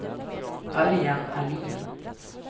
Örjan Ahlin